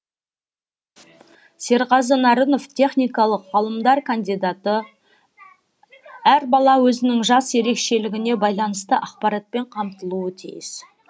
серғазы нарынов техникалық ғылымдар кандидаты әр бала өзінің жас ерекшелігіне байланысты ақпаратпен қамтылуы тиіс